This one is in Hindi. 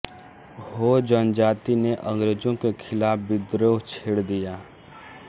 हो जनजाति ने अंग्रेजों के खिलाफ विद्रोह छेड़ दिया